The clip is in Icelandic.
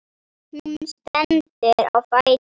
Hún stendur á fætur.